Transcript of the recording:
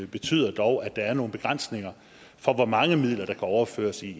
betyder dog at der er nogle begrænsninger for hvor mange midler der kan overføres i